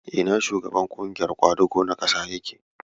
Ina shugaban ƙungiyar ƙwadago na ƙasar yake?